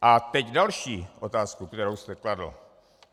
A teď další otázku, kterou jste kladl.